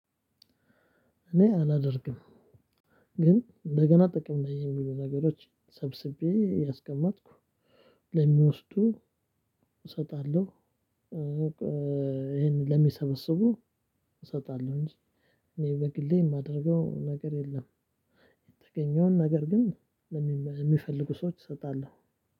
እኔ አላደርግም ግን እንደገና ጥቅም ላይ የሚውሉ ነገሮችን ሰብስቤ እያስቀመጥኩ ለሚወስዱ እሰጣለሁ። ይሄንን ለሚሰበስቡ እሰጣለሁ እንጂ እኔ በግሌ የማደርገው ነገር የለም። የተገኘውን ነገር ግን የሚፈልጉ ሰዎች እሰጣለሁ።